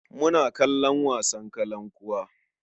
Muna kalon wasan kalankuwa.